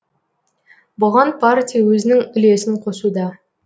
бұған партия өзінің үлесін қосуда